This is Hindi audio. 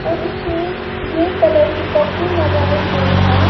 और इसमें ग्रे कलर के कपड़े लगाए गए हैं।